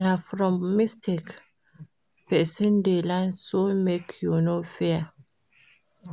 Na from mistake pesin dey learn so make you no fear.